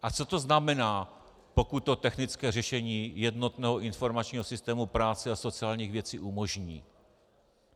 A co to znamená, pokud to technické řešení jednotného informačního systému práce a sociálních věcí umožní?